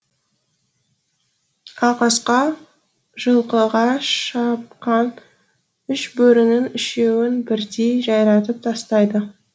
ағасқа жылқыға шапқан үш бөрінің үшеуін бірдей жайратып тастайды